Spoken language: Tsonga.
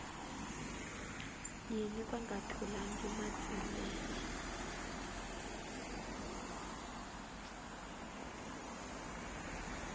yini va nga tholangi matsilele